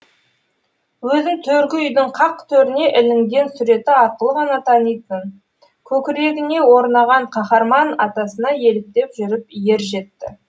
өзін төргі үйдің қақ төріне ілінген суреті арқылы ғана танитын көкірегіне орнаған қаһарман атасына еліктеп жүріп ер жетті